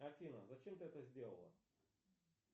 афина зачем ты это сделала